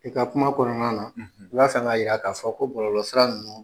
I ka kuma kɔnɔna na i bɛ fɛ ka yira ko bɔlɔsira ninnu